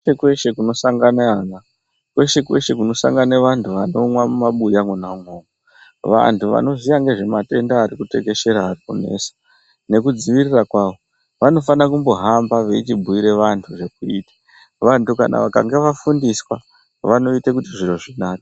Kweshe kweshe kunosangana ana kweshe kweshe kunosangana antu anomwa mumabuya mwona imomo. Vantu vanoziya zvematenda atekeshera arikunesa nekudzivirira kwawo vanofana kumbohamba vachibhiira vantu zvekuita. Vantu vakanga vafundiswa vanoita kuti zviro zvinake.